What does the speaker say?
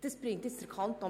Er bringt den Kanton